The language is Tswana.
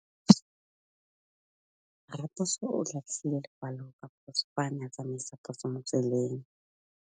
Raposo o latlhie lekwalô ka phosô fa a ne a tsamaisa poso mo motseng.